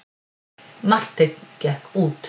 Marteinn gekk út.